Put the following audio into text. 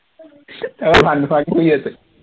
তাৰপৰা ভাত নোখোৱাকে শুই আছে